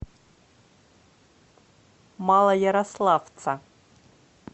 малоярославца